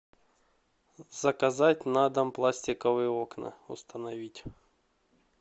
заказать на дом пластиковые окна установить